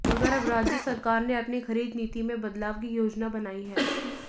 मगर अब राज्य सरकार ने अपनी खरीद नीति में बदलाव की योजना बनाई है